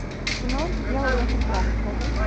кино дьявол носит прада покажи